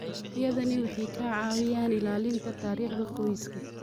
Adeegyadani waxay caawiyaan ilaalinta taariikhda qoyska.